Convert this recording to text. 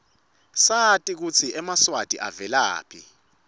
sati kutsi emaswati avelaphi